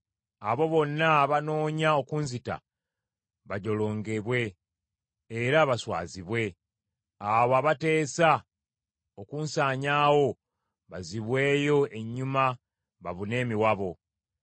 Abo bonna abannoonya okunzita bajolongebwe era baswazibwe; abo abateesa okunsanyaawo bazzibweyo ennyuma babune emiwabo.